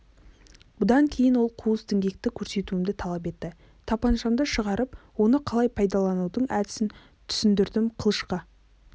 бұдан кейін ол қуыс діңгекті көрсетуімді талап етті тапаншамды шығарып оны қалай пайдаланудың әдісін түсіндірдім қылышқа